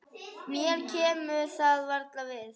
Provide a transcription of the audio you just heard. Mér kemur það varla við.